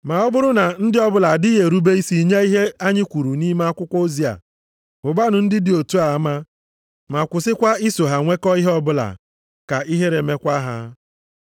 Ma ọ bụrụ na ndị ọbụla adịghị erube isi nye ihe anyị kwuru nʼime akwụkwọ ozi a, hụbanụ ndị dị otu a ama ma kwụsịkwa iso ha nwekọ ihe ọbụla, ka ihere mekwa ha.